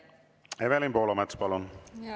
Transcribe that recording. Evelin Poolamets, palun!